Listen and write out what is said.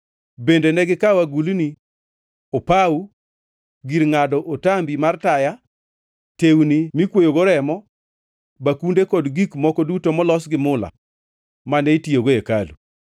Bende negikawo agulni, opawo, gir ngʼado otambi mar taya, tewni mikwoyogo remo, bakunde kod gik moko duto molos gi mula mane itiyogo e hekalu.